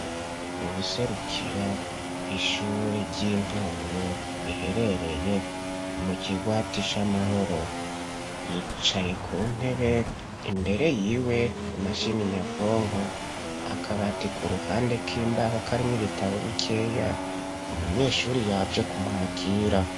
Uwuserukira ishuri ry'intango riherereye mu ki gwati sh'amahoro yicaye ku ntebe imbere yiwe ari mashini nyabwonko akabati ku ruhande k'imbaho karin'ibitabo bikeya umunyeshuri yaje kumwakira.